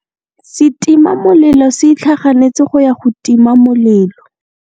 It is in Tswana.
Setima molelô se itlhaganêtse go ya go tima molelô.